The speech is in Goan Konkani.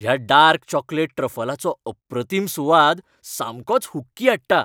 ह्या डार्क चॉकलेट ट्रफलाचो अप्रतीम सुवाद सामकोच हुक्की हाडटा.